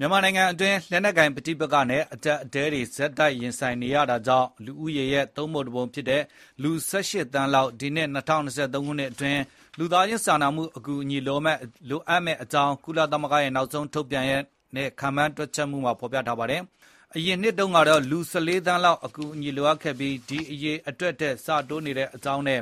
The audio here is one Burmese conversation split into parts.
မြန်မာနိုင်ငံအတွင်း လက်နက်ကိုင် ပဋိပက္ခနဲ့ အကျပ်အတည်းတွေ ဆက်ရင်ဆိုင်နေရတာကြောင့် လူဦးရေရဲ့ သုံးပုံတစ်ပုံ ဖြစ်တဲ့ လူ ၁၈ သန်းလောက် ဒီနှစ် ၂၀၂၃ ခုနှစ်အတွင်း လူသားချင်းစာနာမှုအကူညီ လိုအပ်မယ့်အကြောင်း ကုလသမဂ္ဂရဲ့ နောက်ဆုံး ထုတ်ပြန်တဲ့ ခန့်မှန်းချက်တွေမှာ ဖေါ်ပြထားပါတယ်။ အရင်နှစ်တုန်းကတော့ လူ ၁၄ သန်းလောက် အကူအညီ လိုအပ်ခဲ့ပြီး အဲဒီ အရေအတွက် ဆက်တိုးနေတဲ့အကြောင်း၊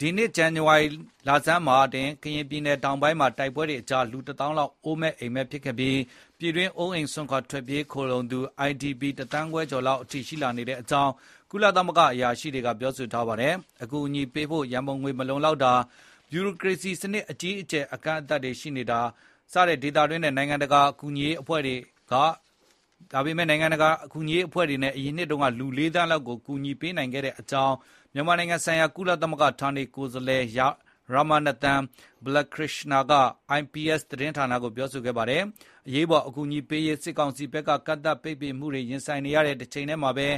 ဒီနှစ် ဇန်နဝါရီလဆန်းမှာတင် ကရင်ပြည်နယ် တောင်ပိုင်းမှာ တိုက်ပွဲတွေကြား လူ တသောင်းလောက် အိုးမဲ့အိမ်မဲ့ဖြစ်ခဲ့ပြီး ပြည်တွင်း အိုးအိမ်စွန့်ခွာ ထွက်ပြေးခိုလှုံသူ IDP တသန်းခွဲကျော်အထိ ရှိလာနေတဲ့အကြောင်း ကုလသမဂ္ဂ အရာရှိတွေက ပြောပါတယ်။ အကူအညီ ပေးအပ်ဖို့ ရံပုံငွေ မလုံလောက်တာ၊ ဗျုရိုကရေစီစနစ် အကြီးအကျယ် ကန့်သတ်မှုတွေကြား ဒေသတွင်းနဲ့ နိုင်ငံတကာ ကူညီရေးအဖွဲ့တွေ အရင်နှစ်တုန်းက လူ ၄ သန်းလောက်ကို အကူအညီပေးနိုင်ခဲ့တဲ့အကြောင်းလည်း မြန်မာနိုင်ငံဆိုင်ရာ ကုလသမဂ္ဂ ဌာနေကိုယ်စားလှယ် Ramanathan Balakrishnan က IPS သတင်းဌာနကို ပြောဆိုပါတယ်။ အရေးပေါ် အကူညီပေးရေး စစ်ကောင်စီဘက်က ကန့်သတ်ပိတ်ပင်မှုတွေ ရင်ဆိုင်နေရတဲ့တချိန်တည်းမှာပဲ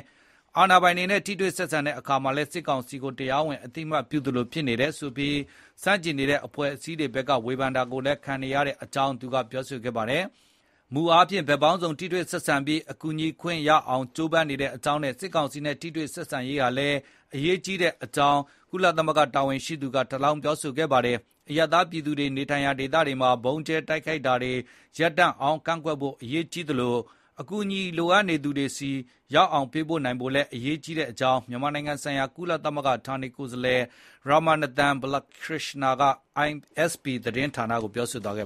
အာဏာပိုင်တွေနဲ့ ထိတွေ့ဆက်ဆံတဲ့အခါမှာလည်း စစ်ကောင်စီကို တရားဝင် အသိအမှတ်ပြုသလို ဖြစ်နေတယ်ဆိုပြီး ဆန့်ကျင်နေတဲ့ အဖွဲ့အစည်းတွေဘက်က ဝေဖန်တာကို ခံနေရတဲ့အကြောင်းလည်း သူကပြောပါတယ်။ မူအားဖြင့် ဘက်ပေါင်းစုံ ထိတွေ့ဆက်ဆံပြီး အကူအညီပေးခွင့်ရအောင် ကြိုးပမ်းနေတဲ့အကြောင်းနဲ့ စစ်ကောင်စီနဲ့ ထိတွေ့ဆက်ဆံရေးဟာလည်း အရေးကြီးတဲ့အကြောင်း သူက ထပ်လောင်းပြောဆိုတာပါ။ အရပ်သားပြည်သူတွေ နေထိုင်ရာဒေတွေမှာ ဗုံးကျဲတိုက်ခိုက်တာမျိုးတွေ ရပ်တန့်အောင် ကန့်ကွက်ဖို့ အရေးကြီးသလို အကူအညီလိုအပ်နေသူတွေဆီ ရောက်အောင် ပေးပို့နိုင်ဖို့လည်း အရေးကြီးတဲ့အကြောင်း မြန်မာနိုင်ငံဆိုင်ရာ ကုလသမဂ္ဂ ဌာနေကိုယ်စားလှယ် Ramanathan Balakrishnan က IPS သတင်းဌာနကို ပြောဆိုသွားခဲ့